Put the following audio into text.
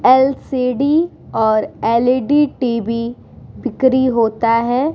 LCD. और LED. TV. बिक्री होता है ।